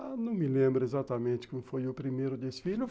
Ah, não me lembro exatamente como foi o primeiro desfile.